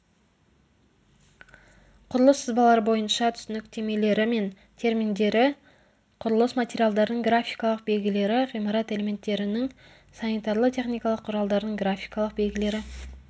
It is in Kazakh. құрылыс сызбалары бойынша түсініктемелері мен терминдері құрылыс материалдардың графикалық белгілері ғимарат элементтерінің санитарлы-техникалық құралдардың графикалық белгілері